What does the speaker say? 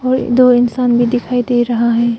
और दो इंसान भी दिखाई दे रहा है।